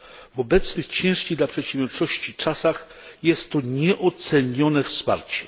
W obecnych, ciężkich dla przedsiębiorczości czasach jest to nieocenione wsparcie.